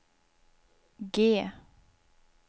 G